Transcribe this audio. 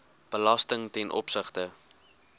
belasting ten opsigte